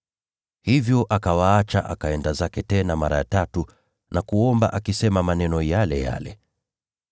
Hivyo akawaacha akaenda zake tena mara ya tatu na kuomba akisema maneno yale yale.